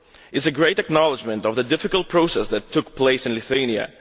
It is a great acknowledgement of the difficult process that took place in Lithuania.